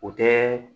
O tɛ